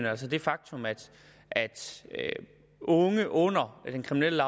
altså det faktum at unge under den kriminelle